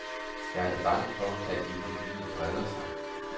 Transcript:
Jeg er da bange for, at epidemien breder sig.